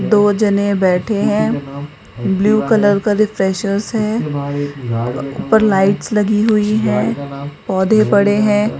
दो जने बैठे हैं ब्लू कलर का रिफ्रेशर्स है ऊपर लाइट्स लगी हुई है पौधे पड़े हैं।